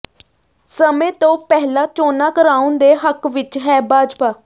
ਸਮੇਂ ਤੋਂ ਪਹਿਲਾਂ ਚੋਣਾਂ ਕਰਾਉਣ ਦੇ ਹੱਕ ਵਿਚ ਹੈ ਭਾਜਪਾ